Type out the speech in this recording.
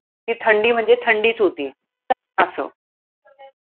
ती थंडी म्हणजे थंडीच होती. असं